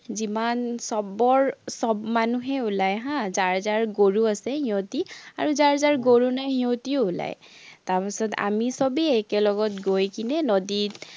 যিমান, চবৰ চব মানুহেই ওলায় হা, যাৰ যাৰ গৰু আছে, সিহঁতি, আৰু যাৰ যাৰ গৰু নাই সিহঁতিও ওলায়। তাৰপাচত আমি চবেই একেলগত গৈ কেনে নদীত